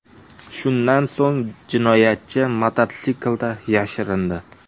Shundan so‘ng jinoyatchi mototsiklda yashirindi.